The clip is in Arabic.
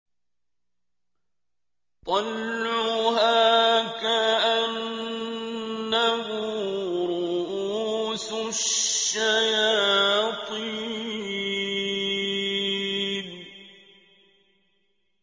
طَلْعُهَا كَأَنَّهُ رُءُوسُ الشَّيَاطِينِ